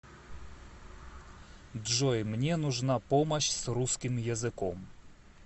джой мне нужна помощь с русским языком